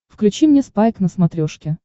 включи мне спайк на смотрешке